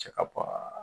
Cɛ ka bɔ